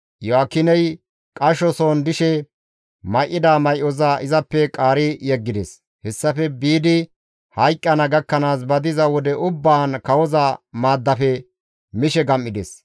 Iyo7aakiney qashoson dishe may7ida may7oza izappe qaari yeggides; hessafe biidi hayqqana gakkanaas ba diza wode ubbaan kawoza maaddafe mishe gam7ides.